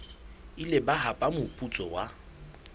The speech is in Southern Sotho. ile ba hapa moputso wa